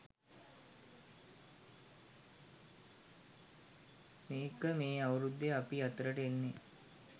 මේක මේ අවුරුද්දේ අපි අතරට එන්නේ